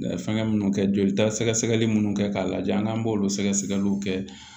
Fɛngɛ minnu kɛ joli ta sɛgɛsɛgɛli minnu kɛ k'a lajɛ n'an b'olu sɛgɛsɛgɛliw kɛ